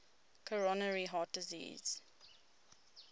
coronary heart disease